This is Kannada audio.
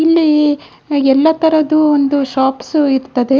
ಇಲ್ಲಿ ಎಲ್ಲ ತರದು ಒಂದು ಶೋಪ್ಸ್‌ ಇರ್ತದೆ.